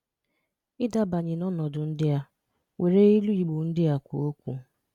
Ì dábànyè n’ọnọdụ ndị a, wèrè ìlù Igbo ndị a kwùọ̀ okwu.